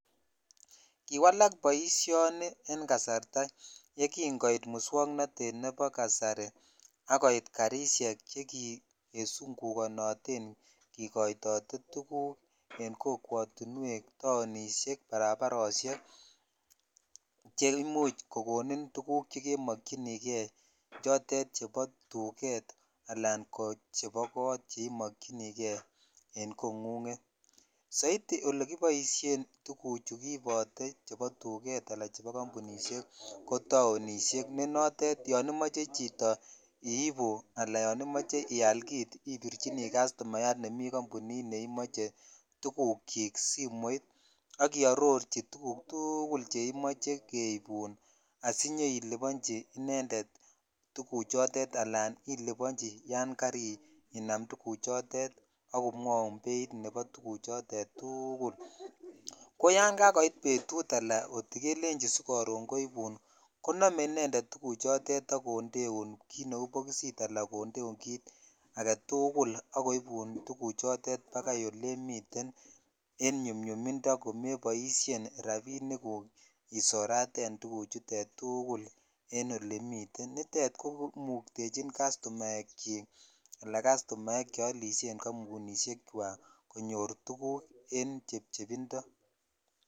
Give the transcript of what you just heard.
Kiwalak boishoni en kasarta ye kin koit muswo